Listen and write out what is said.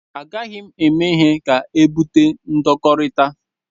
A gaghị m eme ihe ga-ebute ndọkọrita.